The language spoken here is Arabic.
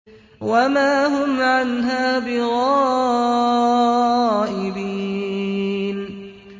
وَمَا هُمْ عَنْهَا بِغَائِبِينَ